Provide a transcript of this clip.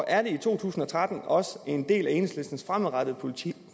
er det i to tusind og tretten også en del af enhedslistens fremadrettede politik